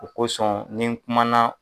O kosɔn ni n kumana